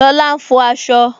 Lola ń fọ asọ